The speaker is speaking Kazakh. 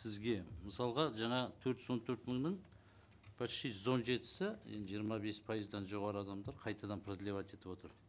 сізге мысалға жаңа төрт жүз он төрт мыңның почти жүз он жетісі енді жиырма бес пайыздан жоғары адамдар қайтадан продлевать етіп отыр